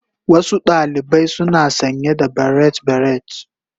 Wasu ɗalibai suna sanye da barrate beret.